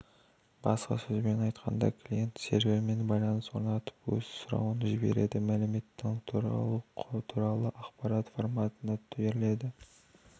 басқа сөзбен айтқанда клиент сервермен байланыс орнатып өз сұрауын жібереді мәліметтің құралы туралы ақпарат форматында берілу